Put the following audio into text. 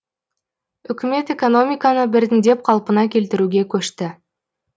үкімет экономиканы біртіндеп қалпына келтіруге көшті